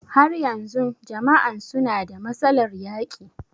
Har yanzun jama'an suna da matsalar yaƙi?